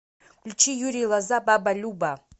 включи юрий лоза баба люба